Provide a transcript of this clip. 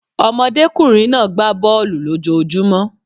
Ọmọdékùnrin náà gbá bọ̀ọ̀lu lójojúmó.